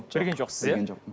білген жоқсыз иә білген жоқпын